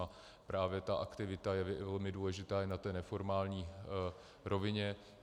A právě ta aktivita je velmi důležité i v té neformální rovině.